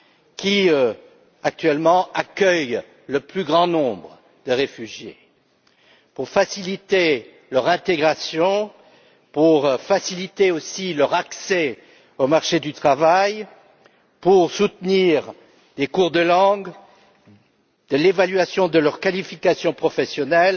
qui, actuellement, accueillent le plus grand nombre de réfugiés, pour faciliter leur intégration, pour faciliter aussi leur accès au marché du travail, pour soutenir les cours de langues, l'évaluation de leurs qualifications professionnelles,